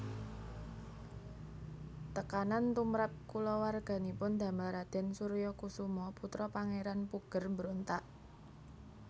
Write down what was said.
Tekanan tumrap kulawarganipun damel Raden Suryokusumo putra Pangeran Puger mbrontak